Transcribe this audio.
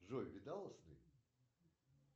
джой видала сны